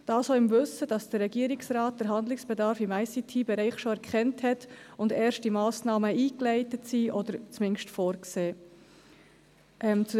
Dies auch im Wissen, dass der Regierungsrat den Handlungsbedarf im ICT-Bereich schon erkannt hat und erste Massnahmen eingeleitet oder zumindest vorgesehen sind.